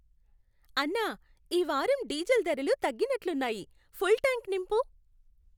అన్నా, ఈ వారం డీజిల్ ధరలు తగ్గినట్లున్నాయి. ఫుల్ ట్యాంక్ నింపు.